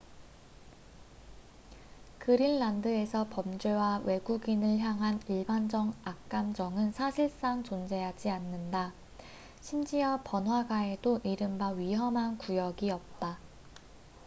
"그린란드에서 범죄와 외국인을 향한 일반적 악감정은 사실상 존재하지 않는다. 심지어 번화가에도 이른바 "위험한 구역""이 없다.